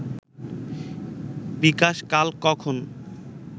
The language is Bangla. বিকাশ কাল কখন